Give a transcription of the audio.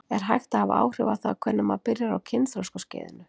Er hægt að hafa áhrif á það hvenær maður byrjar á kynþroskaskeiðinu?